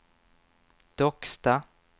Docksta